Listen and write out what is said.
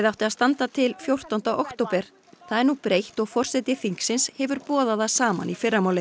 átti að standa til fjórtánda október það er nú breytt og forseti þingsins hefur boðað það saman í fyrramálið